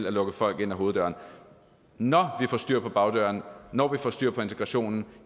at lukke folk ind ad hoveddøren når vi får styr på bagdøren og når vi får styr på integrationen